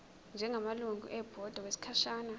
njengamalungu ebhodi okwesikhashana